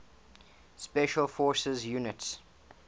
special forces units